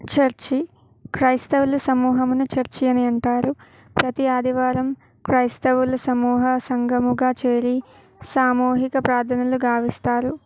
Church క్రిస్తవుల సమూహాన్ని church అని అంటారు ప్రతి ఆదివారం క్రిస్తవులు సమూహంగా సంఘం గా చేరి సామూహిక ప్రార్థనలు గావిస్తారు.